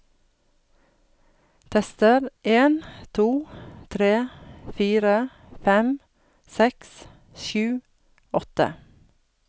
Tester en to tre fire fem seks sju åtte